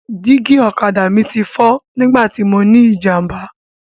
Dígí ọ̀kadà mi ti fọ́ nígbà tí mọ ní ìjàmbá.